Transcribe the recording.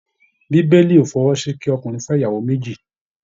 Bíbélì o fọwọ́ sí kí ọkùnrin fẹ ìyàwó méjì.